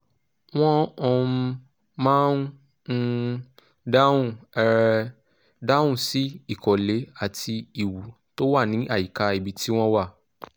wọ́n um máa ń um dáhùn um dáhùn sí ìkọ̀lé àti ìwú tó wà ní àyíká ibi tí wọ́n wà